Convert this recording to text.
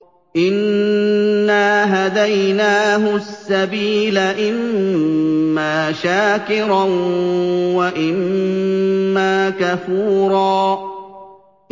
إِنَّا هَدَيْنَاهُ السَّبِيلَ إِمَّا شَاكِرًا وَإِمَّا كَفُورًا